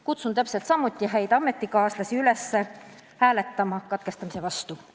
Kutsun täpselt samuti häid ametikaaslasi üles hääletama katkestamise vastu.